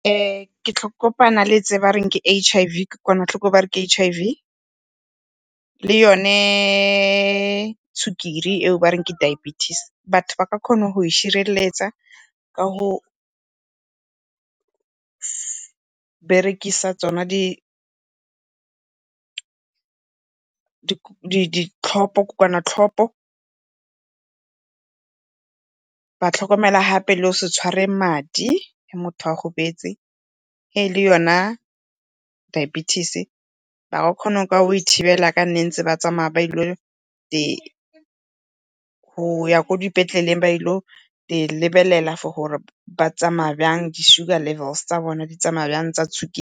Ke tlo kopana le tse ba re ke H_I_V, kokoanatlhoko e ba reng ke H_I_V le yone sukiri eo ba reng ke Diabetes. Batho ba ka kgona go itshireletsa ka go berekisa tsona ditlhopo , ba tlhokomela gape le go se tshware madi ge motho a gobetse e le yona Diabetes. Ba ka kgona ka go e thibela yaka ne ba ntse ba tsamaya ba goya ko dipetleleng ba ye go e lebelela for gore ba tsamaya byang, di-sugar levels tsa bona di tsamaya byang tsa .